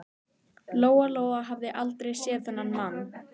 Lóa Lóa hafði aldrei séð þennan mann.